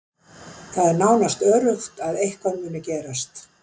Það er nánast öruggt að eitthvað muni gerast.